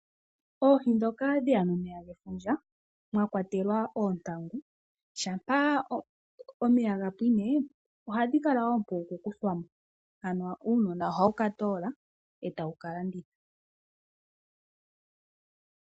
Oohi ndhoka dhe ya nomeya gefundja, mwa kwatelwa oontangu, shampa omeya ga pwine, ohadhi kala oompu ku kuthwa mo, ano uunona ohawu ka toola, e tawu ka landitha.